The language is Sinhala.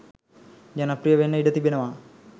ජනප්‍රිය වෙන්න ඉඩ තිබෙනවා.